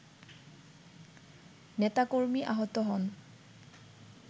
নেতাকর্মী আহত হন